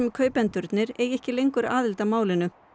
kaupendurnir eigi ekki lengur aðild að málinu